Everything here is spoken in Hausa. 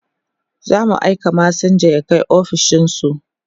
zamu aika masinja ya Kai ofishinsu